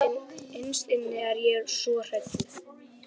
Innst inni er ég svo hrædd.